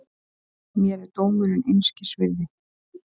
Mér er dómurinn einskis virði.